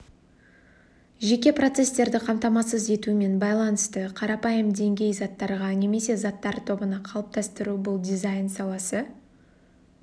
жеке процестерді қамтамасыз етумен байланысты қарапайым деңгей заттарға немесе заттар тобына қалыптастыру бұл дизайн саласы